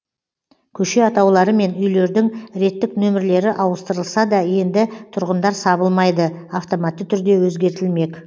көше атаулары мен үйлердің реттік нөмірлері ауыстырылса да енді тұрғындар сабылмайды автоматты түрде өзгертілмек